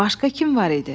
Başqa kim var idi?